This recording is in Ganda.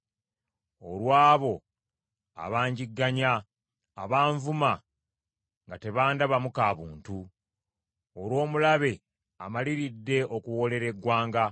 olw’abo abangigganya, abanvuma nga tebandabamu ka buntu, olw’omulabe amaliridde okuwoolera eggwanga.